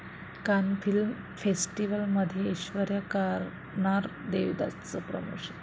कान फिल्म फेस्टिवलमध्ये ऐश्वर्या करणार 'देवदास'चं प्रमोशन